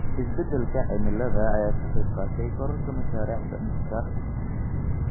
Isbeddelka cimilada ayaa ka qayb qaatay kororka mashaariicda dhirta dhirta.